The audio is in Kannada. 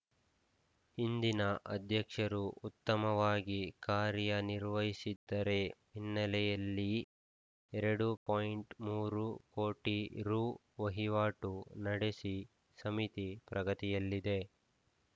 ಹಿಂದಿನ ಅಧ್ಯಕ್ಷರು ಉತ್ತಮವಾಗಿ ಕಾರ್ಯನಿರ್ವಹಿಸಿದ್ದರ ಹಿನ್ನೆಲೆಯಲ್ಲಿ ಎರಡು ಪಾಯಿಂಟ್ ಮೂರು ಕೋಟಿ ರು ವಹಿವಾಟು ನಡೆಸಿ ಸಮಿತಿ ಪ್ರಗತಿಯಲ್ಲಿದೆ